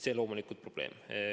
See on loomulikult probleem.